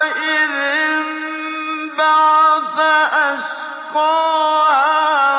إِذِ انبَعَثَ أَشْقَاهَا